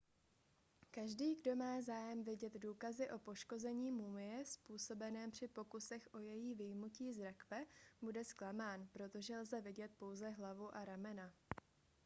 každý kdo má zájem vidět důkazy o poškození mumie způsobeném při pokusech o její vyjmutí z rakve bude zklamán protože lze vidět pouze hlavu a ramena